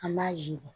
An b'a yiri